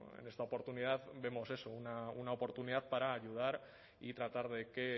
en esta oportunidad vemos eso una oportunidad para ayudar y tratar de que